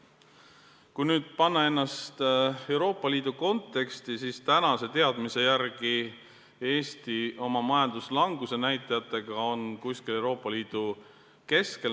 Kui panna see Euroopa Liidu konteksti, siis tänaste teadmiste järgi on Eesti oma majanduslanguse näitajatega Euroopa Liidus kuskil keskel.